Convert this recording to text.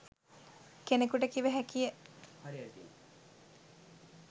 කෙනකුට කිව හැකිය.